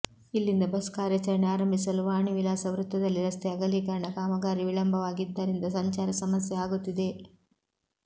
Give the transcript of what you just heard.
ಇಲ್ಲಿಂದ ಬಸ್ ಕಾರ್ಯಚರಣೆ ಆರಂಭಿಸಲು ವಾಣಿ ವಿಲಾಸ ವೃತ್ತದಲ್ಲಿ ರಸ್ತೆ ಅಗಲೀಕರಣ ಕಾಮಗಾರಿ ವಿಳಂಬವಾಗಿದ್ದರಿಂದ ಸಂಚಾರ ಸಮಸ್ಯೆ ಆಗುತ್ತಿದೆ